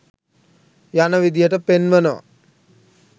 යන විදිහට පෙන්වනවා